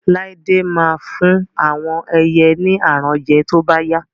Lade ma fún àwọn ẹyẹ ni aràn jẹ to bá yá